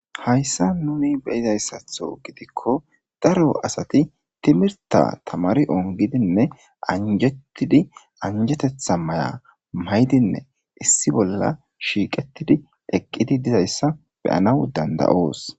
Hayssa nuni beyizayssatho gidikko daro asati timirta tamari ongidinne anjettidi anjetetha maya maydinne issi bolla shiiqettidi eqqidi dizayssa beyanaw dandayoos.